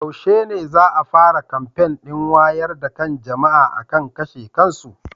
Yaushe ne za a fara kamfen ɗin wayar da kan jama'a akan kashe kansu?